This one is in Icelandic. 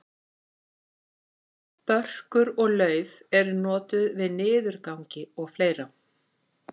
börkur og lauf eru notuð við niðurgangi og fleira